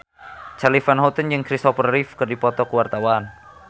Charly Van Houten jeung Christopher Reeve keur dipoto ku wartawan